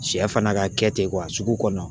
Sɛ fana ka kɛ ten sugu kɔnɔ